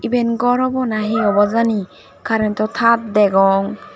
iben ghor obo na he obo jani current o tar degong.